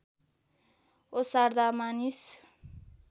ओसार्दा मानिस